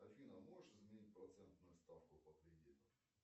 афина можешь изменить процентную ставку по кредиту